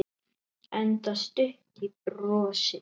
Enda stutt í brosið.